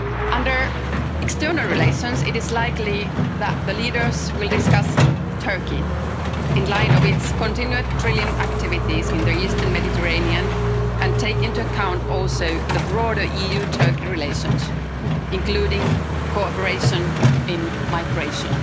Under external relations, it is likely that the leaders will discuss Turkey in light of its continued drilling activities in the eastern Mediterranean and take into account also broader EU-Turkey relations, including cooperation in migration.